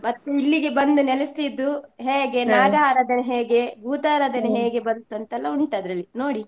ಮತ್ತೆ ಇಲ್ಲಿಗೆ ಬಂದು ನೆಲೆಸಿದ್ದು ಹೇಗೆ ಆರಾದನೆ ಹೇಗೆ, ಭೂತರಾದನೆ ಬಂತು ಅಂತ ಎಲ್ಲ ಉಂಟು ಆದ್ರಲ್ಲಿ ನೋಡಿ.